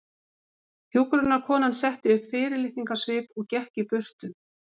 Hjúkrunarkonan setti upp fyrirlitningarsvip og gekk í burtu.